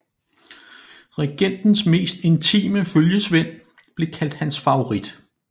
Regentens mest intime følgesvend blev kaldt hans favorit